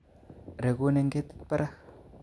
Re'gun en ketit barak